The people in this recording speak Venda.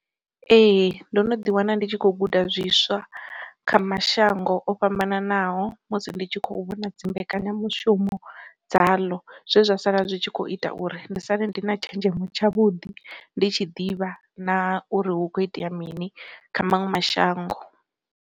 Ee ndo no ḓi wana ndi tshi kho guda zwiswa kha mashango o fhambananaho musi ndi tshi kho vhona dzi mbekanyamushumo dza ḽo, zwe zwa sala zwi tshi kho ita uri ndi sale ndi na tshenzhemo tshavhuḓi ndi tshi ḓivha na uri hu kho itea mini kha maṅwe mashango.